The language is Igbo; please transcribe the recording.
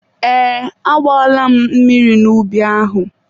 Ee, agbaala m mmiri n'ubi ahụ.